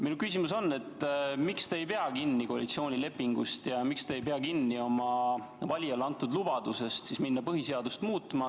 Mu küsimus on, miks te ei pea kinni koalitsioonilepingust ja miks te ei pea kinni oma valijale antud lubadusest minna põhiseadust muutma.